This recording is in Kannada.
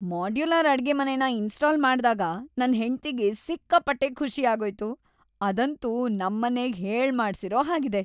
ಮಾಡ್ಯುಲರ್ ಅಡ್ಗೆಮನೆನ ಇನ್ಸ್ಟಾಲ್ ಮಾಡ್ದಾಗ ನನ್ ಹೆಂಡ್ತಿಗೆ ಸಿಕ್ಕಾಪಟ್ಟೆ ಖುಷಿ ಆಗೋಯ್ತು. ಅದಂತೂ ನಮ್ಮನೆಗ್ ಹೇಳ್ಮಾಡ್ಸಿರೋ ಹಾಗಿದೆ.